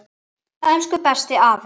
Elsku, besti afi.